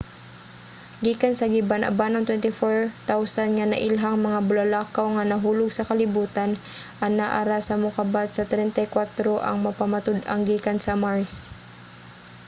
gikan sa gibana-banang 24,000 nga nailhang mga bulalakaw nga nahulog sa kalibutan anaa ra sa mokabat sa 34 ang napamatud-ang gikan sa mars